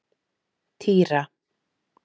Týra